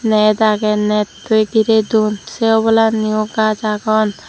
net agey nettoi giredon se obolanni yo gaz agon.